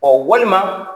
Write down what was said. Ɔ walima